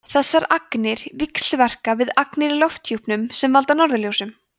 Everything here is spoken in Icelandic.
þessar agnir víxlverka við agnir í lofthjúpnum sem valda norðurljósum